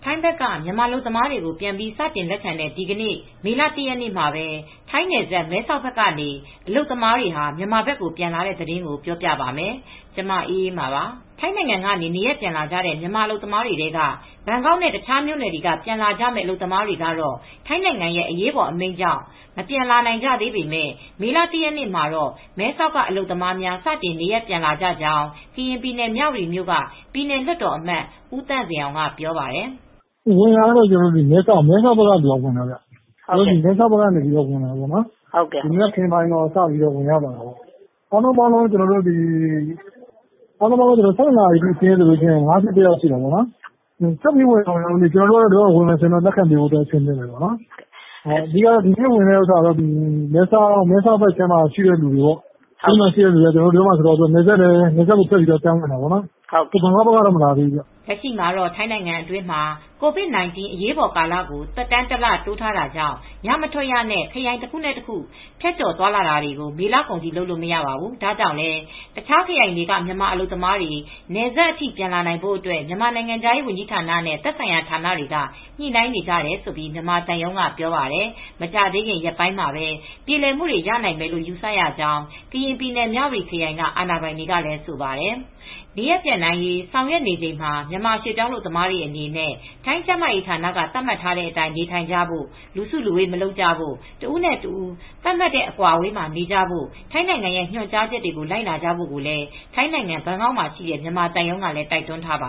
ိုင်းဘက်က မြန်မာအလုပ်သမားတွေကို ပြန်ပြီး စတင်လက်ခံတဲ့ ဒီနေ့ မေလ ၁ ရက်နေ့မှာပဲ ထိုင်းနယ်စပ် မဲဆောက်ဘက်ကနေ အလုပ်သမားတွေ မြန်မာဘက်ကို ပြန်လာတဲ့သတင်းကို ဗွီအိုအေ မြန်မာပိုင်းသတင်းထောက် မအေးအေးမာက တင်ပြပေးပါမယ်။ ထိုင်းနိုင်ငံကနေ နေရပ်ပြန်လာကြတဲ့ မြန်မာအလုပ်သမားတွေထဲက ဘန်ကောက်နဲ့ တခြားမြို့နယ်တွေက ပြန်လာကြမယ့် အလုပ်သမားတွေက ထိုင်းနိုင်ငံ ရဲအရေးပေါ်အမိန့် ကြောင့် မပြန်လာနိုင်ကြသေးပေမယ့် မေလ ၁ ရက်နေ့မှာတော့ မဲဆောက်က အလုပ်သမားများ စတင်နေရပ်ပြန်လာကြကြောင်း ကရင်ပြည်နယ် မြဝတီမြို့က ပြည်နယ်လွှတ်တော်အမတ် ဦးသန့်ဇင်အောင်က ပြောပါတယ်။ "ဝင်တာကတော့ မဲဆောက်ဘက်ကနေ ပြန်ဝင်လာတာပါ။ မဲဆောက်ကနေ ဝင်လာတာ မနက်ပိုင်းကနေ စတင်လာပါတယ်။ အားလုံးပေါင်း နေ့လယ် ၁၂ နာရီအထိ စာရင်းကတော့ ၅၁ ယောက်ရှိပါပြီ။ ဆက်ပြီး ဝင်လာကြအုန်းမလားမသိဘူး။ သူတို့ ဝင်လာအုန်းမယ်ဆိုရင်ကျနော်တို့ကတော့ ဆက်လက်ခံပေးနေအုန်းမှာပဲ။ ဒီနေ့ ဝင်တာက မဲဆောက်ဘက်ကလူတွေကနယ်စပ်ကို ဖြတ်ပြီး ပြန်ဝင်လာတာပါ။ ဘန်ကောက်က လူတွေကတော့ မဝင်လာသေးဘူးဗျ။" လက်ရှိမှာ ထိုင်းနိုင်ငံအတွင်းမှာ COVID-19 အရေးပေါ်ကာလကို သက်တမ်း တလတိုးထားတာကြောင့် ညမထွက်ရနဲ့ ခရိုင်တခုနဲ့ တခု ဖြတ်ကျော်သွားလာတာတွေ မေလကုန်အထိ လုပ်လို့ မရပါဘူး။ ဒါကြောင့်လည်း အခြားခရိုင်တွေက မြန်မာအလုပ်သမားတွေ နယ်စပ်အထိ လာနိုင်ဖို့ မြန်မာနိုင်ငံခြားရေးဝန်ကြီးဌာနနဲ့ သက်ဆိုင်ရာဌာနတွေက ညှိနှိုင်းနေတယ်လို့ မြန်မာသံရုံးက ပြောပါတယ်။ မကြာခင်ရက်ပိုင်းမှာပဲ ပြေလည်မှုတွေ ရနိုင်မယ်လို့ ယူဆရကြောင်း ကရင်ပြည် မြဝတီခရိုင်က အာဏာပိုင်တွေကလည်း ဆိုပါတယ်။ နေရပ်ပြန်နိုင်ရေး ဆောင်ရွက်နေချိန်မှာ မြန်မာရွှေ့ပြောင်းအလုပ်သမားတွေအနေနဲ့ ထိုင်းကျန်းမာရေးဌာနက သတ်မှတ်ထားတဲ့အတိုင်း နေထိုင်ကြဖို့ လူစုလူဝေးမလုပ်ဖို့ တဦးနဲ့ တဦး သတ်မှတ်အကွာအဝေးမှာ နေကြဖို့ ထိုင်းနိုင်ငံရဲ့ ညွှန်ကြားချက်တွေကို လိုက်နာဖို့ကိုလည်း ထိုင်းနိုင်ငံဘန်ကောက်မှာရှိတဲ့ မြန်မာသံရုံးကလည်း တိုက်တွန်းထားပ